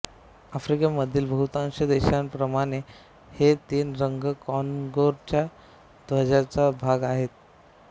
आफ्रिकेमधील बहुतांश देशांप्रमाणे हे तीन रंग कॉंगोच्या ध्वजाचा भाग आहेत